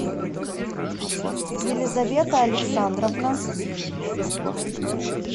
елизавета александровна